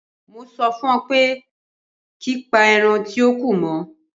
Mo sọ fún ọ pé ki pa ẹran tíó kù mọ́.